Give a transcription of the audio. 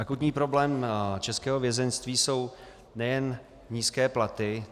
Akutní problém českého vězeňství jsou nejen nízké platy.